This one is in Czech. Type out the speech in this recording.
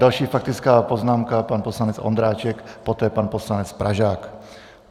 Další faktická poznámka - pan poslanec Ondráček, poté pan poslanec Pražák.